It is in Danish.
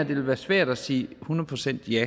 vil være svært at sige et hundrede procent ja